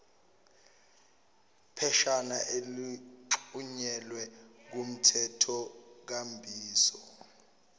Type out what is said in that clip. pheshana elixhunyelwe kumthethonkambiso